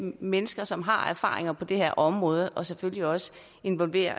mennesker som har erfaringer på det her område og selvfølgelig også involverer